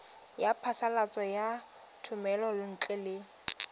ya phasalatso ya thomelontle le